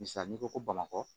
Misa n'i ko ko bamakɔ